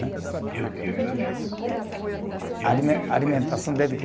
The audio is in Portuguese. Porque a comida, essa alimentação é mais saudável. Alimentação